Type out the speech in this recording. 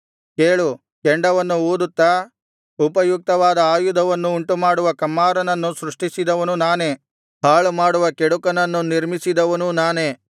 ಕೇಳು ಕೆಂಡವನ್ನು ಊದುತ್ತಾ ಉಪಯುಕ್ತವಾದ ಆಯುಧವನ್ನು ಉಂಟುಮಾಡುವ ಕಮ್ಮಾರನನ್ನು ಸೃಷ್ಟಿಸಿದವನು ನಾನೇ ಹಾಳುಮಾಡುವ ಕೆಡುಕನನ್ನು ನಿರ್ಮಿಸಿದವನೂ ನಾನೇ